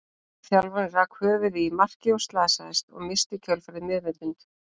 Þjálfarinn rak höfuðið í markið og slasaðist, og missti í kjölfarið meðvitund.